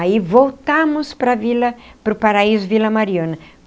Aí voltamos para a Vila para o paraíso Vila Mariana.